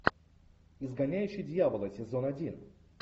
изгоняющий дьявола сезон один